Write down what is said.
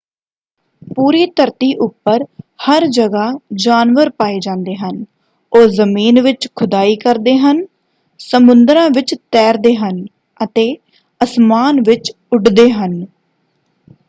ਪੂਰੀ ਧਰਤੀ ਉੱਪਰ ਹਰ ਜਗ੍ਹਾ ਜਾਨਵਰ ਪਾਏ ਜਾਂਦੇ ਹਨ। ਉਹ ਜ਼ਮੀਨ ਵਿੱਚ ਖੁਦਾਈ ਕਰਦੇ ਹਨ ਸਮੁੰਦਰਾਂ ਵਿੱਚ ਤੈਰਦੇ ਹਨ ਅਤੇ ਅਸਮਾਨ ਵਿੱਚ ਉੱਡਦੇ ਹਨ।